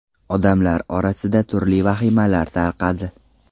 Odamlar orasida turli vahimalar tarqadi.